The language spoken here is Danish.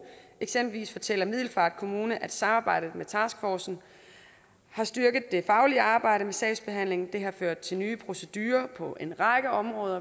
eksempelvis fortæller middelfart kommune at samarbejdet med taskforcen har styrket det faglige arbejde med sagsbehandlingen det har ført til nye procedurer på en række områder